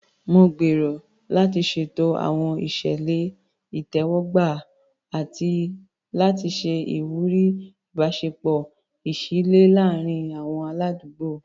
Mo gbèrò láti ṣètò àwọn ìṣẹ̀lẹ̀ ìtẹ́wọ́gbà àti láti ṣe ìwúrí ìbáṣepọ̀ ìṣísílẹ̀ láàárín àwọn aládùúgbò.